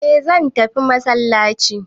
eh zan tafi masallaci